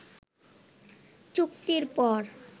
চুক্তির পর